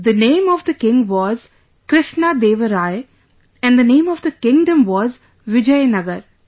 The name of the king was Krishna Deva Rai and the name of the kingdom was Vijayanagar